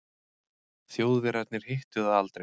Þjóðverjarnir hittu það aldrei.